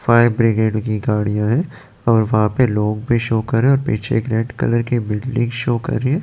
fire brigade की गाड़ियां है और वहां पे लोग भी शो करें रहे और पीछे रेड कलर की बिल्डिंग शो कर रहे --